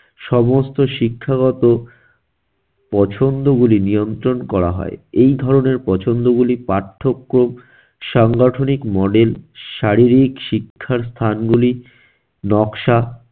সমস্ত শিক্ষাগত পছন্দগুলি নিয়ন্ত্রণ করা হয়। এই ধরনের পছন্দগুলি পার্থক্য সাংগঠনিক model শারীরিক শিক্ষার স্থানগুলি নকশা